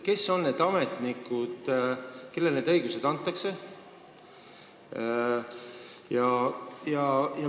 Kes on need ametnikud, kellele sellised õigused antakse?